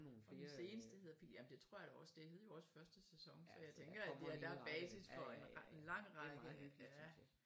Og den seneste hedder jamen det tror jeg da også det hed jo også første sæson så jeg tænker at det er der er basis for en lang række